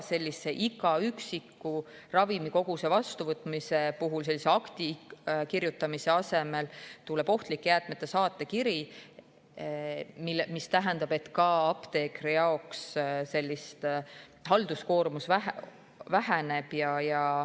Iga üksiku ravimikoguse vastuvõtmise puhul akti kirjutamise asemel tuleb ohtlike jäätmete saatekiri, mis tähendab, et ka apteekri halduskoormus väheneb.